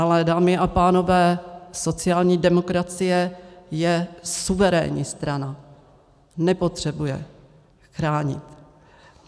Ale dámy a pánové, sociální demokracie je suverénní strana, nepotřebuje chránit.